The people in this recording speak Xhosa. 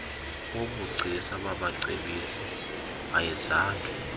wobugcisa babacebisi ayizange